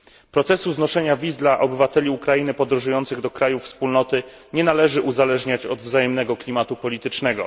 Procesu znoszenia wiz dla obywateli Ukrainy podróżujących do krajów Wspólnoty nie należy uzależniać od wzajemnego klimatu politycznego.